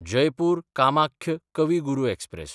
जयपूर–कामाख्य कवी गुरू एक्सप्रॅस